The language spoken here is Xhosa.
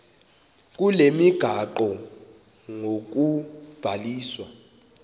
kule migaqo ngokubhaliswa